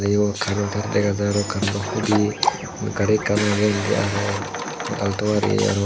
yot carent tar dega jar carentto hudi gari ekkan age indi araw galto gari araw.